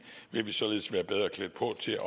vil vi således være bedre klædt på til